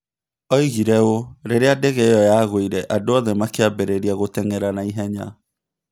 Oigire ũũ: "Rĩrĩa ndege io yaguire andũ othe makĩambĩrĩria gũteng'era na ihenya"